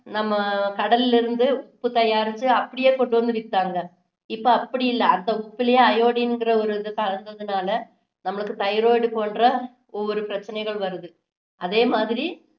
நம்ம கடல்ல இருந்து உப்பு தயாரிச்சு அப்படியே கொண்டு வந்து வித்தாங்க இப்போ அப்படி இல்ல அந்த உப்புலேயே iodine ங்குற ஒரு இது கலந்ததுனால நம்மளுக்கு thyroid போன்ற ஒவ்வொரு பிரச்சினைகள் வருது அதே மாதிரி